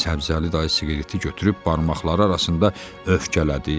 Səbzəli dayı siqareti götürüb barmaqları arasında öfkələdi.